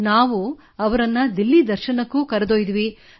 ನಾವು ಅವರನ್ನು ದಿಲ್ಲಿ ದರ್ಶನಕ್ಕೂ ಕರೆದೊಯ್ದಿದ್ದೆವು